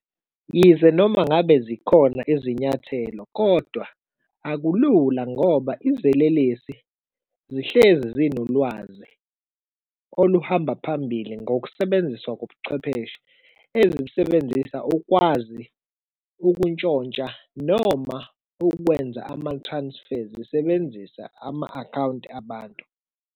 Yize noma ngabe zikhona izinyathelo kodwa akulula ngoba izelelesi zihlezi zinolwazi oluhamba phambili ngokusebenziswa kobuchwepheshe ezibusebenzisa ukwazi ukuntshontsha noma ukwenza ama-transfers zisebenzisa ama-akhawunti abantu.